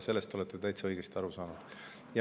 Sellest olete täitsa õigesti aru saanud.